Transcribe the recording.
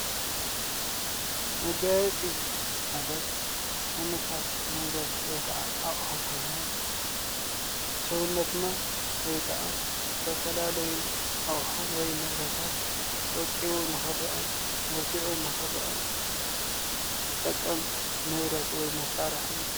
መጋየጺ ማለት ዓይነታት ንብረት ወይ ከዓ ኣቑሑት ኮይኖም ብ ሰውነትና ወይ ከኣ ዝተፈላለዩ ኣቑሑ ወይ ንብረታት ወቂቡ ንክርአ መልኪዑ ንክርአ ዝጠቅም ንብረት ወይ መሳርሒ